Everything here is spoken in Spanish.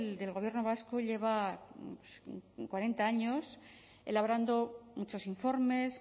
del gobierno vasco lleva cuarenta años elaborando muchos informes